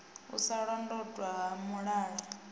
u sa londotwa ha mulala